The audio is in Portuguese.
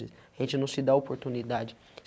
A gente não se dá oportunidade.